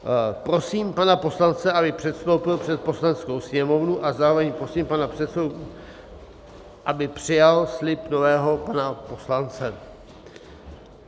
Prosím pana poslance, aby předstoupil před Poslaneckou sněmovnu, a zároveň prosím pana předsedu, aby přijal slib nového pana poslance.